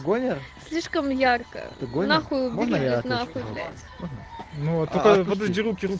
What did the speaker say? гомер слишком яркая другой нахуй наверно появляется ну вот такая подожди руки